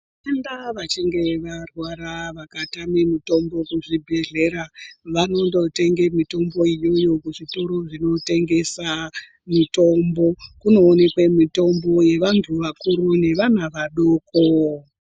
Vatenda vachinge varwara vakatame mutombo kuchibhedhlera vanondotenge mitombo iyoyo kuzvitoro zvinotengeswa mitombo. Kunoonekwe mitombo yevantu vakuru nevana vadoko.